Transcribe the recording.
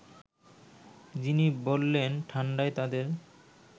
যিনি বললেন ঠাণ্ডায় তাঁদের